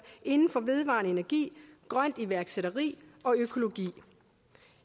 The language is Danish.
inden for vedvarende energi grønt iværksætteri og økologi